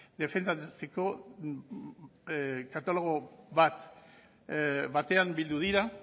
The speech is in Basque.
defendatzeko dekalogo batean bildu dira